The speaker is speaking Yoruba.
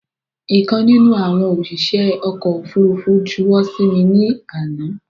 Ìkan nínú àwọn òṣìṣẹ́ ọkọ̀ ofúrufú juwọ́ sí mi ní àná